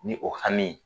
Ni o hami ye